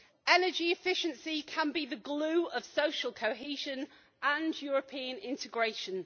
Energy efficiency can be the glue of social cohesion and European integration.